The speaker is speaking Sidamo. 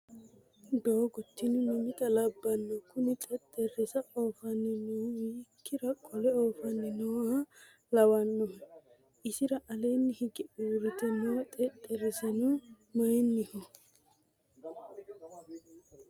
Doogo tini mamitta labbano? Kuni xexerisa oofanni noohu hiikkira qole oofanni nooha lawannohe? Isira alee hige uurrite noo xexerisino mayiinniho?